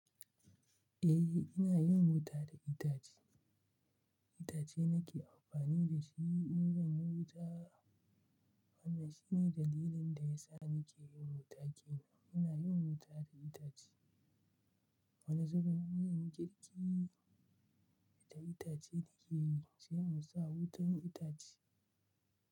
Eh, ina yin wuta da itace. Itace nake amfani da shi in zan yi wuta. Wannan shine dalilin da ya sa nake yin wuta ke nan. Muna yin wuta da itace. Wani zurin ginin girki da itace ake yi, sai mu sa wutar itace.